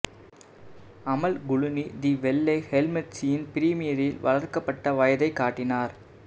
அமல் Clooney the வெள்ளை ஹெல்மெட்ஸின் பிரீமியரில் வளர்க்கப்பட்ட வயத்தை காட்டினார்